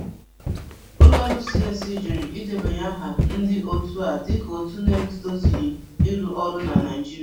Ụlọọrụ CAC jụrụ ịdebanye aha ndị òtù a dịka òtù na-etozughi ịrụ ọrụ na Naịjirịa.